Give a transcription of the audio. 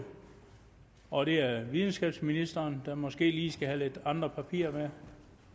og det er videnskabsministeren der måske lige skal have andre papirer med